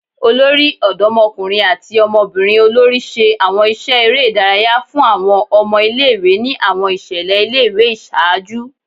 Olori Ọdọmọkunrin ati ọmọbirin olori ṣe awọn iṣẹ ere idaraya fun awọn ọmọ ile-iwe ni awọn iṣẹlẹ ile-iwe iṣaaju